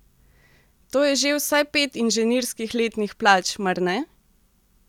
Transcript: To je že vsaj pet inženirskih letnih plač, mar ne?